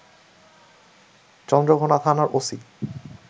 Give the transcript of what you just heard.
চন্দ্রঘোনা থানার ওসি